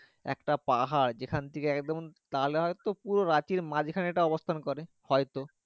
একটা পাহাড় যে খান থেকে এক যেমন নাহলে হয়তো পুরো রাঁচির মাঝ খানে অবস্থান করে হয়তো।